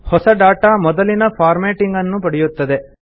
ಹೊಸ ಡಾಟಾ ಮೊದಲಿನ ಫಾರ್ಮ್ಯಾಟಿಂಗ್ ಅನ್ನು ಪಡೆಯುತ್ತದೆ